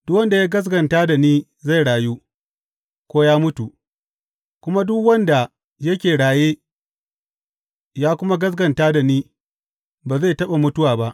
Duk wanda ya gaskata da ni zai rayu, ko ya mutu; kuma duk wanda yake raye ya kuma gaskata da ni ba zai taɓa mutuwa ba.